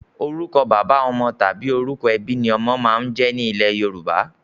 Orúkọ bàbá ọmọ/orúkọ ẹbí ni ọmọ máa ń jẹ́ ní ilẹ́ Yorùbá.